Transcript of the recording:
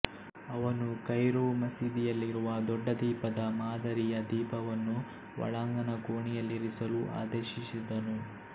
ಅವನು ಕೈರೊ ಮಸೀದಿಯಲ್ಲಿರುವ ದೊಡ್ಡ ದೀಪದ ಮಾದರಿಯ ದೀಪವನ್ನು ಒಳಾಂಗಣ ಕೋಣೆಯಲ್ಲಿರಿಸಲು ಆದೇಶಿಸಿದನು